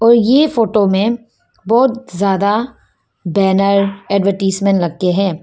ये फोटो में बहुत ज्यादा बैनर एडवरटाइजमेंट लग के है।